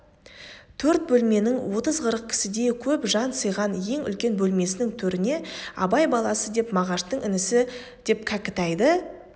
төрт бөлменің отыз-қырық кісідей көп жан сыйған ең үлкен бөлмесінің төріне абай баласы деп мағашты інісі деп кәкітайды